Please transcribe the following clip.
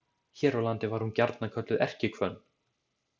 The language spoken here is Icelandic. Hér á landi var hún gjarnan kölluð erkihvönn.